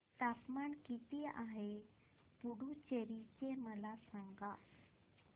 तापमान किती आहे पुडुचेरी चे मला सांगा